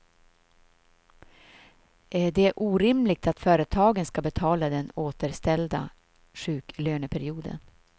Det är orimligt att företagen ska betala den återställda sjuklöneperioden.